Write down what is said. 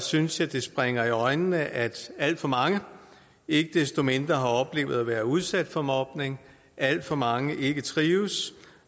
synes jeg det springer i øjnene at alt for mange ikke desto mindre har oplevet at være udsat for mobning at alt for mange ikke trives